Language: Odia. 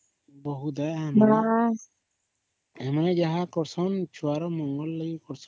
ବହୁତ ହୈ ସେମାନେ ଯାହା କର ଛନ ଛୁଆ ର ମଙ୍ଗଳ ଲାଗି କର ଛନ